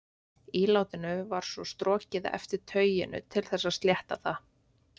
Ílátinu var svo strokið eftir tauinu til þess að slétta það.